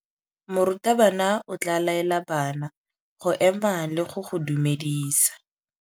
Morutabana o tla laela bana go ema le go go dumedisa.